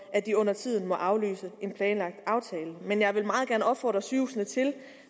at de undertiden må aflyse en planlagt aftale men jeg vil meget gerne opfordre sygehusene til